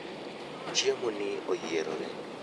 chiemo ni oyiere